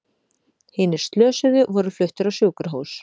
Hinir slösuðu voru fluttir á sjúkrahús